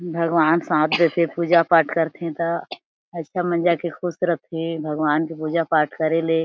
भगवान साथ देथे पूजा पाठ करथे त अछा मजा के ख़ुश रथे भगवान के पूजा पाठ करे ले--